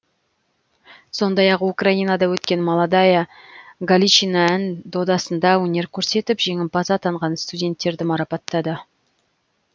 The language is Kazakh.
сондай ақ украинада өткен молодая галичина ән додасында өнер көрсетіп жеңімпаз атанған студенттерді марапаттады